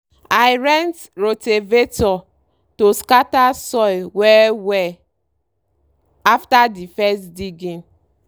i rent rotavator to scatter soil well-well after the first diging.